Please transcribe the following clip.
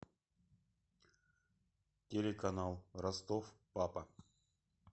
телеканал ростов папа